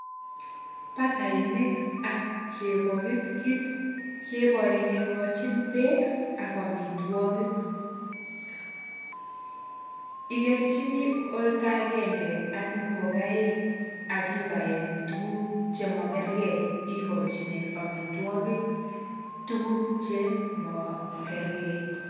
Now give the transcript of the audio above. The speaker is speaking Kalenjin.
Batainik ak chebokitkit, kebae kekochin beek ak amitwogik. Ikerchini olda agenge, ak ngokaik, akibaen tugun chemakergei. Ikochinen amitwogik tuguk chemakergei.